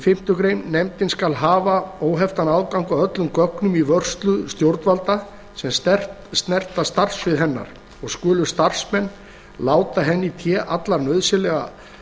fimmtu grein nefndin skal hafa óheftan aðgang að öllum gögnum í vörslu stjórnvalda sem snerta starfssvið hennar og skulu starfsmenn láta henni í té alla nauðsynlega